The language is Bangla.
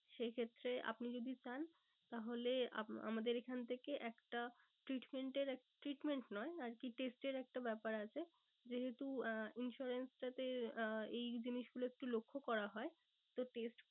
সে ক্ষেত্রে আপনি যদি চান তাহলে আমাদের এখান থেকে একটা treatment এর treatment নয় আরকি test এর একটা ব্যাপার আছে। যেহেতু আহ insurance টাতে এই জিনিস গুলো একটু লক্ষ করা হয় তো test